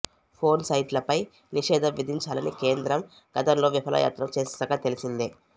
porn సైట్లపై నిషేధం విధించాలని కేంద్రం గతంలో విఫలయత్నం చేసిన సంగతి తెలిసిందే